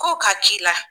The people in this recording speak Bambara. Kow ka k'i la